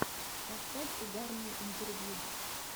поставь угарные интервью